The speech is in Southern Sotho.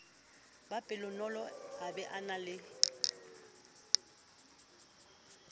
be pelonolo a be le